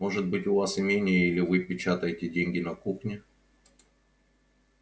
может быть у вас имение или вы печатаете деньги на кухне